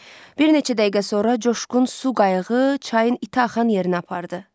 Bir neçə dəqiqə sonra coşqun su qayığı çayın iti axan yerinə apardı.